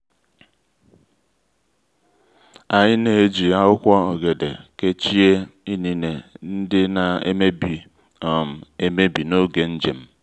anyị na-eji akwụkwọ ọ́gẹ̀dẹ̀ kechie inine ndị na-emebi um emebi n'oge njem.